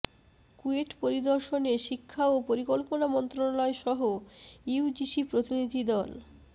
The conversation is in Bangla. কুয়েট পরিদর্শনে শিক্ষা ও পরিকল্পনা মন্ত্রণালয়সহ ইউজিসি প্রতিনিধি দল